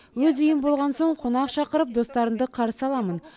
өз үйім болған соң қонақ шақырып достарымды қарсы аламын